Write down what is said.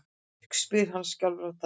spyr hann skjálfraddaður.